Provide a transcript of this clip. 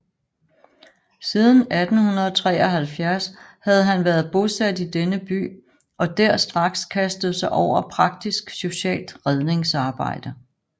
Siden 1873 havde han været bosat i denne By og der straks kastet sig over praktisk socialt Redningsarbejde